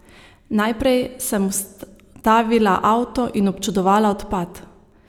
Najprej sem ustavila avto in občudovala odpad!